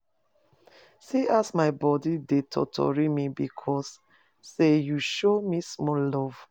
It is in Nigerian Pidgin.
See as my bodi dey totori me because sey you show me small love.